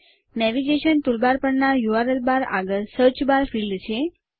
navigation toolbar પર URL bar આગળ સીચ બાર ફિલ્ડ છે